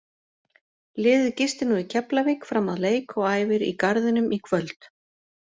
Liðið gistir nú í Keflavík fram að leik og æfir í Garðinum í kvöld.